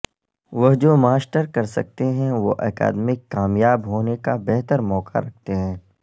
وہ جو ماسٹر کرسکتے ہیں وہ اکادمیک کامیاب ہونے کا بہتر موقع رکھتے ہیں